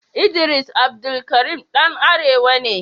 Idris Abdulkarim ɗan arewa ne.